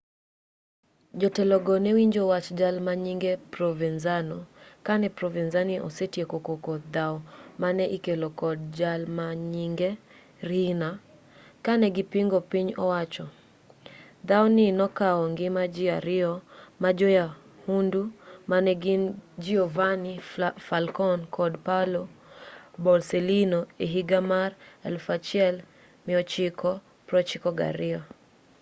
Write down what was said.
jotelogo newinjo wach jal manyinge provenzano kane provenzano osetieko koko dhaw mane ikelo kod jalmanyinge riina kanegipingo piny owacho dhaw ni nokaw ngima ji ariyo majoyahundu manegin giovanni falcone kod paolo borsellino ehiga mar 1992